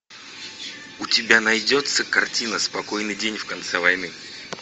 у тебя найдется картина спокойный день в конце войны